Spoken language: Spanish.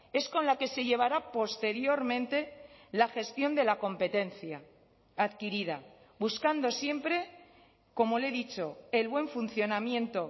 es con la que se llevará posteriormente la gestión de la competencia adquirida buscando siempre como le he dicho el buen funcionamiento